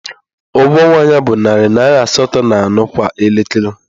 Ụgwọ ọnwa ya bụ narị naira asatọ na anọ kwa elekere